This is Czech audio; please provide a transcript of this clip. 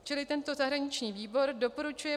Čili tento zahraniční výboru doporučuje